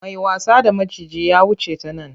Mai wasa da maciji yanzu ya wuce ta nan.